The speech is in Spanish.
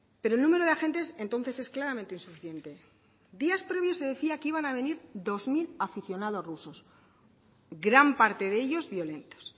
pero el número de agentes entonces es claramente insuficiente días previos se decía que iban a venir dos mil aficionados rusos gran parte de ellos violentos